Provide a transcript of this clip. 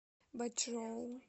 бачжоу